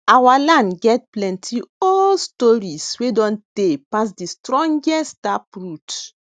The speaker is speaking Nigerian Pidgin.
our land get plenty old stories wey don tey pass de strongest taproot